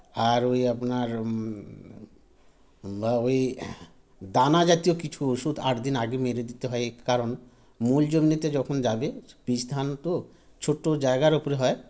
আর ঐ আপনার মমম বা ঐ দানা জাতীয় কিছু ওষুধ আটদিন আগে মেরে দিতে হয় কারণ মূলজনিতে যখন যাবে বীজধান তো ছোটো জায়গার ওপর হয়